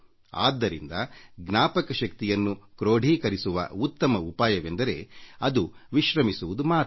ಆದ್ದರಿಂದ ಜ್ಞಾಪಕ ಶಕ್ತಿಯನ್ನು ಕ್ರೊಡೀಕರಿಸುವ ಉತ್ತಮ ಉಪಾಯವೆಂದರೆ ಅದು ಬಿಗುಮಾನವಿಲ್ಲದೆ ಇರುವುದು ಮಾತ್ರ